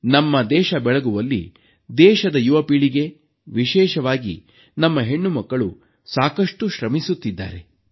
ನಮ್ಮ ದೇಶ ಬೆಳಗುವಲ್ಲಿ ದೇಶದ ಯುವ ಪೀಳಿಗೆ ವಿಶೇಷವಾಗಿ ನಮ್ಮ ಹೆಣ್ಣುಮಕ್ಕಳು ಸಾಕಷ್ಟು ಶ್ರಮಿಸುತ್ತಿದ್ದಾರೆ